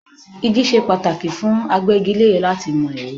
Igi ṣe pàtàkì fún agbégilére láti mọ ère.